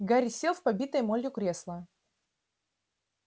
гарри сел в побитое молью кресло